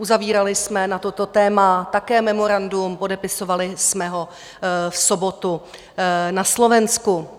Uzavírali jsme na toto téma také memorandum, podepisovali jsme ho v sobotu na Slovensku.